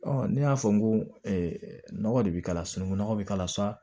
ne y'a fɔ n ko nɔgɔ de bi k'a la sunukun nɔgɔ bi k'a la sa